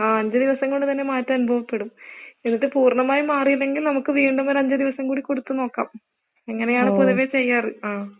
ആ, അഞ്ച് ദിവസം കൊണ്ട് തന്നെ മാറ്റം അനുഭവപ്പെടും, എന്നിട്ട് പൂർണ്ണമായി മാറിയില്ലെങ്കിൽ നമുക്ക് വീണ്ടും ഒരു അഞ്ച് ദിവസം കൂടി കൊടുത്ത് നോക്കാം. ഇങ്ങനെയാണ് പൊതുവേ ചെയ്യാറ്. ആ